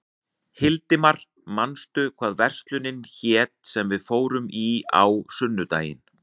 Hildimar, manstu hvað verslunin hét sem við fórum í á sunnudaginn?